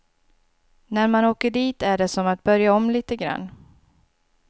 När man åker dit är det som att börja om lite grann.